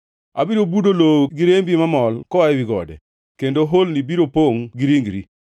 Abiro budo lowo gi rembi mamol koa ewi gode, kendo holni biro pongʼ gi ringri.